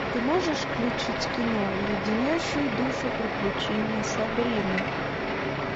ты можешь включить кино леденящие душу приключения сабрины